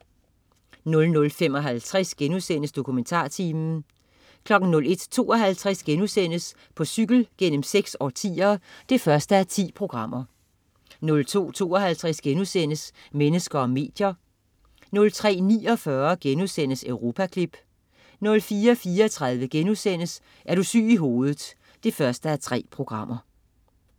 00.55 DokumentarTimen* 01.52 På cykel gennem seks årtier 1:10* 02.52 Mennesker og medier* 03.49 Europaklip* 04.34 Er du syg i hovedet 1:3*